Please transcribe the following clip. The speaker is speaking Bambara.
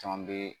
Caman be